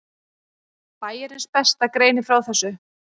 Bæjarins besta greinir frá þessu.